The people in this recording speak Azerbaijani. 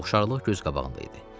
Oxşarlıq göz qabağında idi.